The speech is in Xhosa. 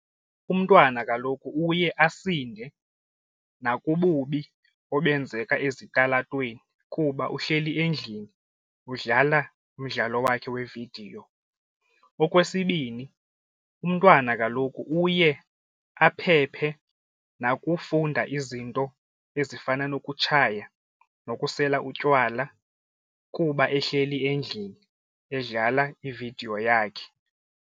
Umntwana kaloku uye asinde nakububi obenzeka ezitalatweni kuba uhleli endlini udlala umdlalo wakhe weevidiyo. Okwesibini, umntwana kaloku uye aphephe nakufunda izinto ezifana nokutshaya nokusela utywala kuba ehleli endlini edlala ividiyo yakhe.